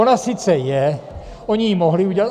Ona sice je, oni ji mohli udělat.